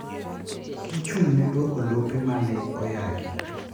Gichung' ne duoko lope mane oyaki.